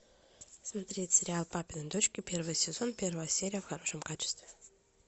смотреть сериал папины дочки первый сезон первая серия в хорошем качестве